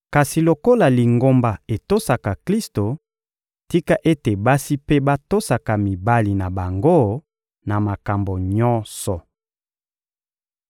Kasi lokola Lingomba etosaka Klisto, tika ete basi mpe batosaka mibali na bango na makambo nyonso.